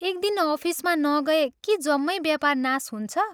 एक दिन अफिसमा नगए के जम्मै व्यापार नाश हुन्छ?